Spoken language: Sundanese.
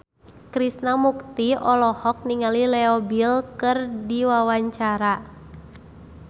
Krishna Mukti olohok ningali Leo Bill keur diwawancara